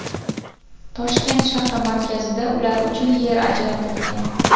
Toshkent shahri markazida ular uchun yer ajratilgan.